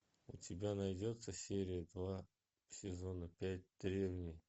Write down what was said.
у тебя найдется серия два сезона пять древние